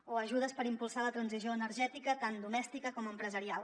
o ajudes per impulsar la transició energètica tant domèstica com empresarial